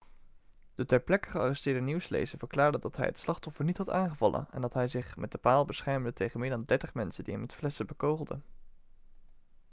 de ter plekke gearresteerde nieuwslezer verklaarde dat hij het slachtoffer niet had aangevallen en dat hij zich met de paal beschermde tegen meer dan dertig mensen die hem met flessen bekogelden